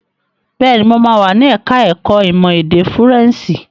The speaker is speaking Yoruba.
Bẹ́ẹ̀ni, mo máa wà ní ẹ̀ka ẹ̀kó ìmọ̀ èdè Fúrẹ́ǹṣì.